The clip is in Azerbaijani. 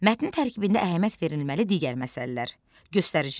Mətnin tərkibində əhəmiyyət verilməli digər məsələlər: göstəricilər.